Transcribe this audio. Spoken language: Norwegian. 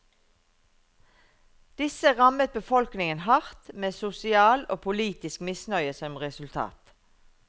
Disse rammet befolkningen hardt, med sosial og politisk misnøye som resultat.